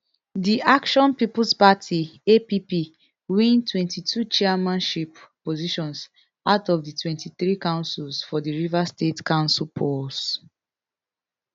di action peoples party app win twenty-two chairmanship positions out of di twenty-three councils for di rivers state council polls